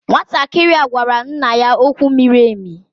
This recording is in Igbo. Nwantakịrị a gwara nna ya okwu miri emi.